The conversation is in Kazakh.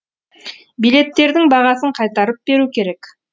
билеттердің бағасын қайтарып беру керек